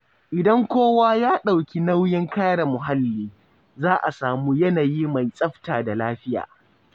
Idan kowa ya ɗauki nauyin kare muhalli, za a samu yanayi mai tsafta da lafiya.